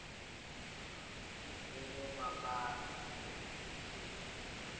ukuba banzi entsundu